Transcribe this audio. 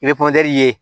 I bɛ ye